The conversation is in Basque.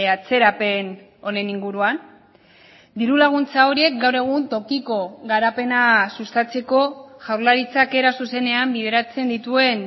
atzerapen honen inguruan diru laguntza horiek gaur egun tokiko garapena sustatzeko jaurlaritzak era zuzenean bideratzen dituen